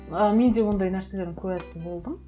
ы мен де ондай нәрселердің куәсі болдым